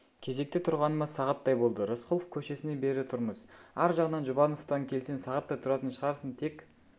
кезекте тұрғаныма сағаттай болды рысқұлов көшесінен бері тұрмыз ар жағынан жұбановтан келсең сағаттай тұратын шығарсың тек